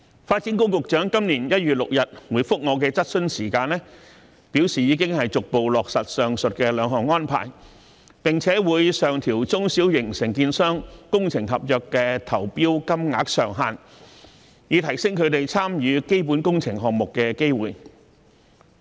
發展局局長在今年1月6日回覆我的質詢時，表示已經逐步落實上述兩項安排，並會上調中小型承建商工程合約的投標金額上限，以提升它們參與基本工程項目的機會。